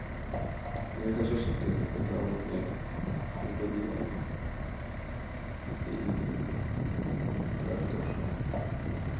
я хочу чтоб ты заказала мне бульон и картошку